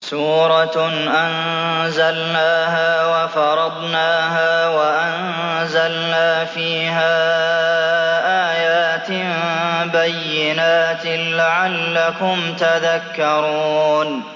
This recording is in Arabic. سُورَةٌ أَنزَلْنَاهَا وَفَرَضْنَاهَا وَأَنزَلْنَا فِيهَا آيَاتٍ بَيِّنَاتٍ لَّعَلَّكُمْ تَذَكَّرُونَ